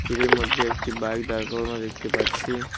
তীরের মধ্যে একটি বাইক দাঁড় করানো দেখতে পাচ্ছি।